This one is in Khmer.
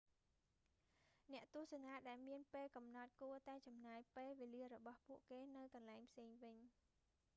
អ្នកទស្សនាដែលមានពេលកំណត់ គួតែចំណាយពេលវេលារបស់ពួកគេនៅកន្លែងផ្សេងវិញ